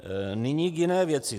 Nyní k jiné věci.